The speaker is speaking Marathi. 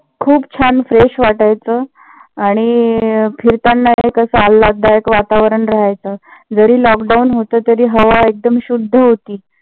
खूप छान fresh वाटायचं आणि फिरताना ही कस आल्हाददायक वातावरण रहायचं. जरी lockdown होत तरी हवा एकदम शुद्ध होती.